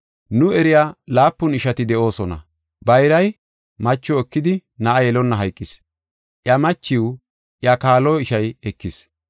Nu eriya laapun ishati de7oosona. Bayray macho ekidi na7a yelonna hayqis. Iya machiw iya kaalo ishay ekis.